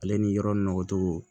Ale ni yɔrɔ nɔgɔ togo